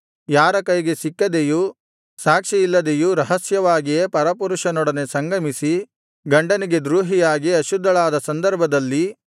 ಯಾರ ಕೈಗೆ ಸಿಕ್ಕದೆಯೂ ಸಾಕ್ಷಿ ಇಲ್ಲದೆಯೂ ರಹಸ್ಯವಾಗಿಯೇ ಪರಪುರುಷನೊಡನೆ ಸಂಗಮಿಸಿ ಗಂಡನಿಗೆ ದ್ರೋಹಿಯಾಗಿ ಅಶುದ್ಧಳಾದ ಸಂದರ್ಭದಲ್ಲಿ